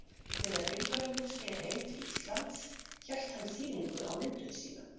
Þegar Vilhjálmur sneri heim til Íslands hélt hann sýningu á myndum sínum.